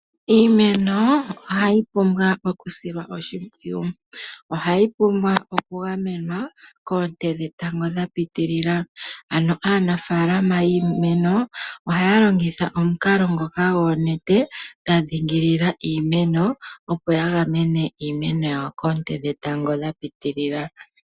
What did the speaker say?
Iimeno ohayi pumbwa okusilwa oshimpwiyu. Ohayi pumbwa okugamenwa koonte dhetango dha pitilila. Ano aanafaalama yiimeno ohaya longitha omukalo ngoka goonete dha dhingilila iimeno opo ya gamene iimeno yawo koonte dhetango dha pitilila.